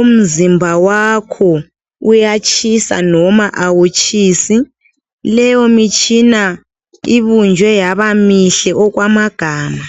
umzimba wakho, uyatshisa noma awutshisi. Leyomitshina ibunjwe yabamihle okwamagama.